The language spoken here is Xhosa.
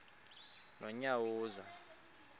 nonyawoza